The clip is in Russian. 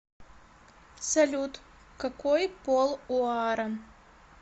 салют какой пол у аарон